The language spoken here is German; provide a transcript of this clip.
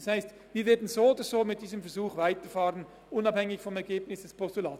Das heisst, wir werden mit diesem Versuch so oder so weiterfahren, unabhängig vom Ergebnis des Postulats.